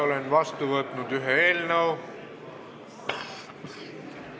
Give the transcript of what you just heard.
Olen vastu võtnud ühe eelnõu.